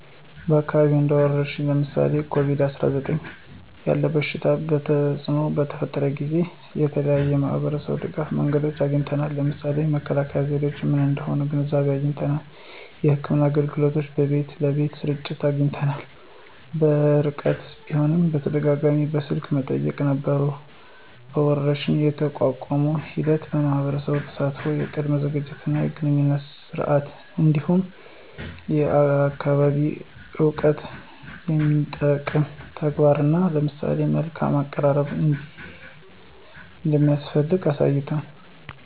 በአካባቢያችን እንደ ወረርሽኝ (ለምሳሌ ኮቪድ-19) ያለ የበሽታ ተፅእኖ በተፈጠረበት ጊዜ የተለያዩ የማህበረሰብ ድጋፍ መንገዶችን አግኝተናል። ለምሳሌ መከላከያ ዘዴዎች ምን እንደሆኑ ግንዛቤ አግኝተናል። የሕክምና አገልግሎቶች በቤት ለቤት ስርጭት አግኝተናል። በርቀት ቢሆንም በተደጋጋሚ በስልክ መጠያየቅ ነበሩ። ወረርሽኝን የመቋቋም ሂደት የማህበረሰብ ተሳትፎ፣ የቅድመ ዝግጅት እና የግንኙነት ስርዓት፣ እንዲሁም የአካባቢ እውቀትን የሚጠቅም ተግባራት እና ለሰው መልካም አቀራረብ እንደሚያስፈልግ አሳይቷል።